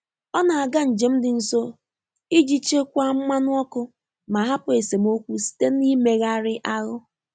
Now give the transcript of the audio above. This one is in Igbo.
Ọ́ nà-àgá njém dị́ nsò ìjí chèkwáá mmànụ̀ ọ́kụ́ mà hàpụ́ ésémókwú sìté n’íméghàrị́ áhụ́.